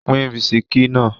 Pín bisikí náà!